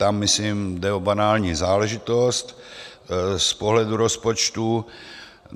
Tam myslím jde o banální záležitost z pohledu rozpočtu.